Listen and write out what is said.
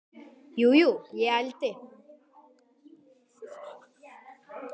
Jú, jú, ég ældi.